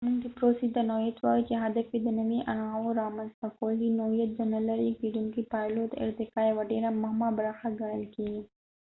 مونږ دې پروسې ته نوعیت وایو چې هدف یې د نوي انواعو رامنځته کول دي نوعیت د نه لرې کیدونکو پایلو او د ارتقاء یو ډيره مهمه برخه ګڼل کیږي